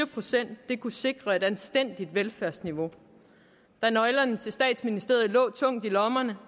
procent kunne sikre et anstændigt velfærdsniveau da nøglerne til statsministeriet lå tungt i lommerne